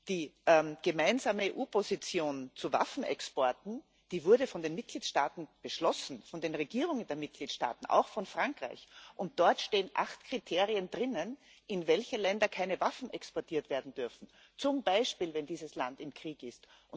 Die gemeinsame EU Position zu Waffenexporten wurde von den Mitgliedstaaten beschlossen, von den Regierungen der Mitgliedstaaten, auch von Frankreich, und dort stehen acht Kriterien, in welche Länder keine Waffen exportiert werden dürfen, zum Beispiel, wenn dieses Land im Krieg ist.